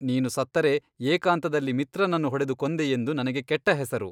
ನೀನು ಸತ್ತರೆ ಏಕಾಂತದಲ್ಲಿ ಮಿತ್ರನನ್ನು ಹೊಡೆದು ಕೊಂದೆಯೆಂದು ನನಗೆ ಕೆಟ್ಟ ಹೆಸರು.